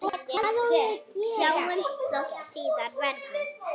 Sjáumst þótt síðar verði.